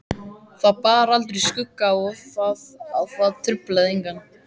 Það bar aldrei skugga á það og það truflaði engan.